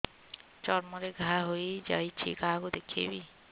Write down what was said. ଚର୍ମ ରେ ଘା ହୋଇଯାଇଛି କାହାକୁ ଦେଖେଇବି